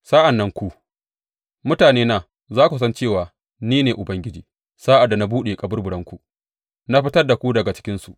Sa’an nan ku, mutanena, za ku san cewa ni ne Ubangiji, sa’ad da na buɗe kaburburanku na fitar da ku daga cikinsu.